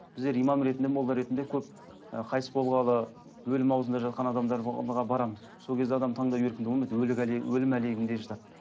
біздер имам ретінде молда ретінде көп і қайтыс болғалы өлім ауызында жатқан адамдар барамыз сол кезде адам таңдау еркінде болмайды өлім әлегінде жатады